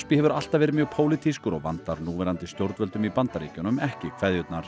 hefur alltaf verið mjög pólitískur og vandar núverandi stjórnvöldum í Bandaríkjunum ekki kveðjurnar